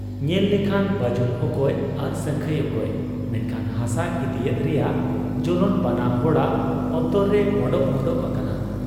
ᱧᱮᱞ ᱞᱮᱠᱷᱟᱱ ᱵᱟᱹᱡᱩᱱ ᱚᱠᱚᱭ ᱟᱨ ᱥᱟᱹᱝᱠᱷᱟᱹᱭ ᱚᱠᱚᱭ, ᱢᱮᱱᱠᱷᱟᱱ ᱦᱟᱥᱟ ᱤᱫᱤᱭᱮᱫ ᱨᱮᱭᱟᱜ ᱡᱚᱞᱚᱱ ᱵᱟᱱᱟ ᱦᱚᱲᱟᱜ ᱚᱱᱛᱚᱨ ᱨᱮ ᱢᱚᱰᱚᱜ ᱢᱚᱰᱚᱜ ᱟᱠᱟᱱᱟ ᱾